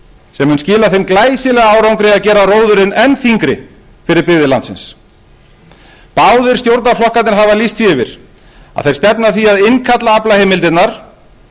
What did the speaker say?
sem mun skila þeim glæsilega árangri að gera róðurinn enn þyngri fyrir byggðir landsins báðir stjórnarflokkarnir hafa lýst því yfir að þeir stefna að því að innkalla aflaheimildirnar